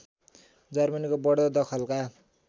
जर्मनीको बढ्दो दखलका